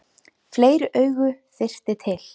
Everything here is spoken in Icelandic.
Fleiri augu þyrfti til.